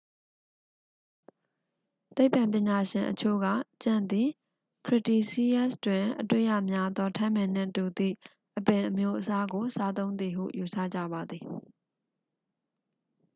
သိပ္ပံပညာရှင်အချို့က ကြံ့သည် cretaceous တွင်အတွေ့ရများသော ထန်းပင်နှင့်တူသည့်အပင်အမျိုးအစားကို စားသုံးသည်ဟု ယူဆကြပါသည်